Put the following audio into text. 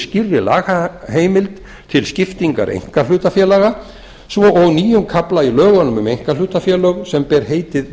skýrri lagaheimild til skiptingar einkahlutafélaga svo og nýjum kafla í lögunum um einkahlutafélög sem ber heitið